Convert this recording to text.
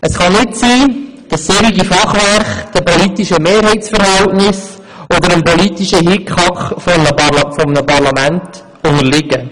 Es kann nicht sein, dass solche Fachwerke den politischen Mehrheitsverhältnissen oder dem politischen Hickhack eines Parlaments unterliegen.